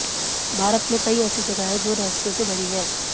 भारत में कई ऐसी जगह हैं जो रहस्यों से भरी हैं